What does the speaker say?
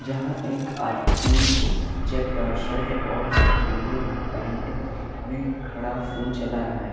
यहां एक आदमी चेकदार शर्ट और नीले पेंट में खड़ा फोन चला रहा है।